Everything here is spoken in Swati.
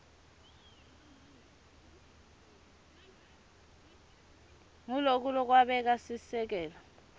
nguloku lokwabeka sisekelo